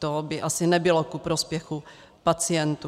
To by asi nebylo ku prospěchu pacientů.